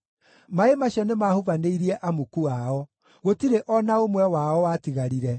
Maaĩ macio nĩmahubanĩirie amuku ao; gũtirĩ o na ũmwe wao watigarire.